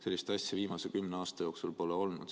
Sellist asja viimase kümne aasta jooksul pole olnud.